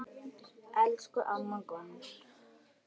Elsku amma Gunn.